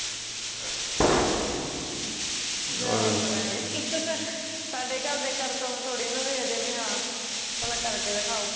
ਜਾ ਓਏ ਪਰਾ ਓਏ ਸਾਡੇ ਘਰਦੇ ਕਰਤਵ ਥੋੜੀ ਨਾ ਦੇਖਦੇ ਐ ਵੀ ਹਾਂ ਪਹਿਲਾਂ ਕਰਕੇ ਦਖਾਓ